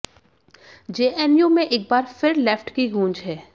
JNU में एक बार फिर लेफ्ट की गूंज है